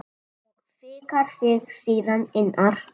Og fikrar sig síðan innar?